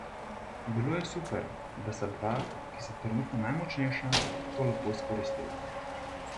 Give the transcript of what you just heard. Bilo je super, da sta dva, ki sta trenutno najmočnejša, to lahko izkoristila.